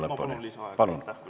Ma palun lisaaega, kui see on võimalik.